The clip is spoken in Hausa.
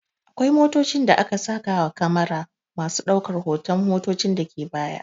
Akwai motocin da aka saka wa kyamera me daukan hotan abinda ke baya